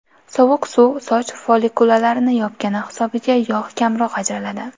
Sovuq suv soch follikulalarini yopgani hisobiga yog‘ kamroq ajraladi.